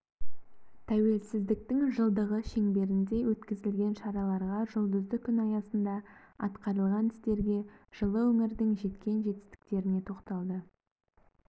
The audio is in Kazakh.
тәуелсіздіктің жылдығы шеңберінде өткізілген шараларға жұлдызды күн аясында атқарылған істерге жылы өңірдің жеткен жетістіктеріне тоқталды